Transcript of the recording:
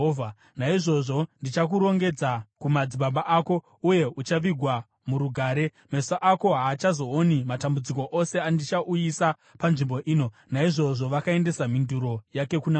Naizvozvo ndichakurongedza kumadzibaba ako, uye uchavigwa murugare. Meso ako haachazooni matambudziko ose andichauyisa panzvimbo ino.’ ” Naizvozvo vakaendesa mhinduro yake kuna mambo.